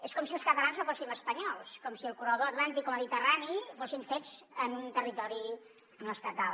és com si els catalans no fóssim espanyols com si el corredor atlàntic o mediterrani fossin fets en un territori no estatal